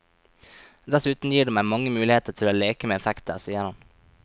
Dessuten gir det meg mange muligheter til å leke med effekter, sier han.